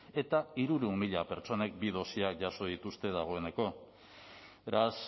eta hirurehun mila pertsonek bi dosiak jaso dituzte dagoeneko beraz